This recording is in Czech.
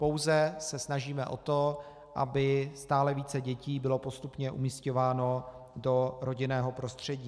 Pouze se snažíme o to, aby stále více dětí bylo postupně umísťováno do rodinného prostředí.